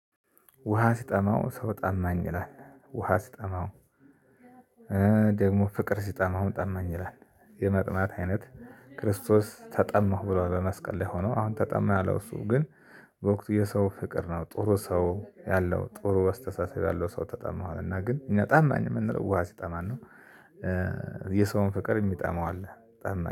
ውሃ ሲጠማው ሰው ጠማኝ ይላል ውሃ ሲጠማው ደግሞ ፍቅር ሲጠማውም ጠማኝ ይላል። የመጥማት አይነት ክርስቶስ ተጠማሁ ብሎ በመስቀል ላይ ሆኖ አሁን ተጠማኝ ያለው እሱ ግን። በወቅቱ የሰው ፍቅር ነው ጥሩ ሰው ያለው ጥሩ አስተሳሰብ ያለው ሰው ተጠማሁት አለ። እና ግን እኛ ጠማኝ የምንለው ውሃ ሲጠማን ነው። የሰውን ፍቅር የሚጠማው አለ ጠማኝ